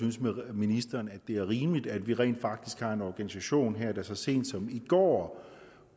ministeren at det er rimeligt at vi rent faktisk har en organisation her der så sent som i går